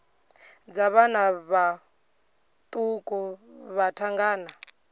dza vhana vhaṱuku vha thangana